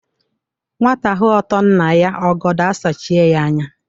Nwata hụ ótoò nna ya ọgọdọọ asachịe ya anya.